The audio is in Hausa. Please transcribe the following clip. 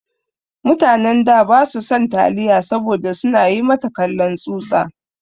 Mutanen da ba su san taliya saboda su na yi mata kallon tsutsa.